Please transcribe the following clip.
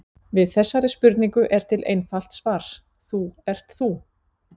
Við þessari spurningu er til einfalt svar: Þú ert þú.